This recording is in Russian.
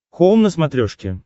хоум на смотрешке